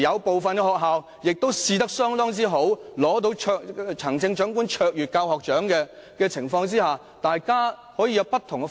部分學校試驗成績相當好，甚至獲得行政長官卓越教學獎，為何我們不讓學校採用不同方式？